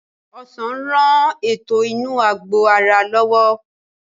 Ọsàn ń rán ètò inú àgbò ara lọ́wọ́